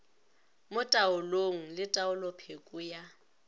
mo taolong le taolopheko ya